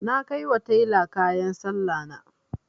Na kai wa tela kayan Sallahna.